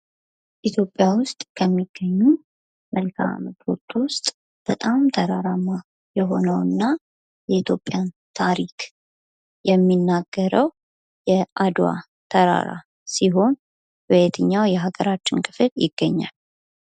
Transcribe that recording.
ኢትዮጵያ ውስጥ ከሚገኙ መልክዓምድሮች ውስጥ በጣም ተራራማ የሆነውና የኢትዮጵያን ታሪክ የሚናገረው የአድዋ ተራራ ሲሆን በየትኛው የሀገራችን ክፍል ይገኛል?